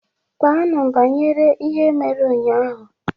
Kpaanụ banyere ihe mere ụnyahụ!